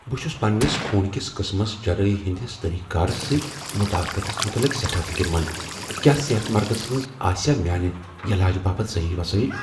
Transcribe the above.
بہٕ چُھس پنٛنس خون کس قٕسمس جراحی ہٕنٛدس طریقہٕ کارس سۭتۍ مطابقتس متعلق سٮ۪ٹھاہ فکر مند ۔ کیٛاہ صحت مرکزس منز آسیا میٛانہ یلاجِہ باپت صحیح وسٲیل؟